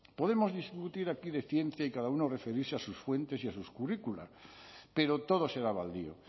podemos discutir aquí de ciencia y cada uno referirse a sus fuentes y a sus currículos pero todo será baldío